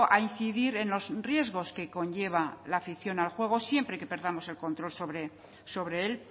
a incidir en los riesgos que conlleva la afición al juego siempre que perdamos el control sobre él